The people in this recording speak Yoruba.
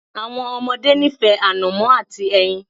Àwọn ọmọdé nífẹ̀ẹ́ ànọ̀mó àti ẹyin.